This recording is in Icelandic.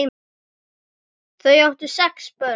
Þau áttu sex börn.